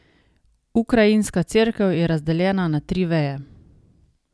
Ukrajinska cerkev je razdeljena na tri veje.